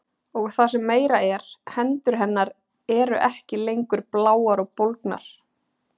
Og það sem meira er, hendur hennar eru ekki lengur bláar og bólgnar.